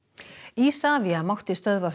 Isavia mátti stöðva